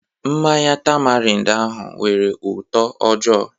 Mmanya tamarind ahụ nwere ụtọ ojoo